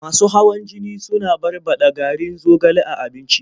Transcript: Masu hawan jini suna barɓaɗa garin zogale a abinci.